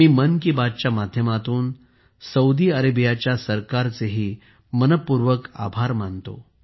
मी मन की बातच्या माध्यमातून सौदी अरेबियाच्या सरकारचेही मनःपूर्वक आभार मानतो